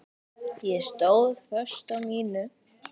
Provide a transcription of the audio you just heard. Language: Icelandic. Ég stóð föst á mínu.